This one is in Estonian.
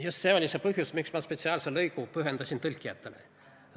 Just see oli põhjus, miks ma spetsiaalse lõigu pühendasin tõlkijatele.